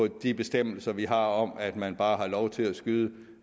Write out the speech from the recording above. de bestemmelser vi har om at man bare har lov til at skyde